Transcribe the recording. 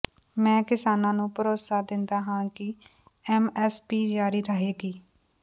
ਮੈਂ ਕਿਸਾਨਾਂ ਨੂੰ ਭਰੋਸਾ ਦਿੰਦਾ ਹਾਂ ਕਿ ਐਮਐਸਪੀ ਜਾਰੀ ਰਹੇਗਾ